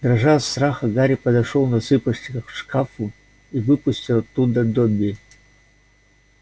дрожа от страха гарри подошёл на цыпочках к шкафу и выпустил оттуда добби